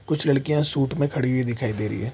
कुछ लड़किया शूट में खड़ी हुई दिखाई दे रही है।